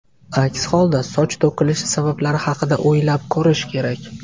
Aks holda, soch to‘kilishi sabablari haqida o‘ylab ko‘rish kerak.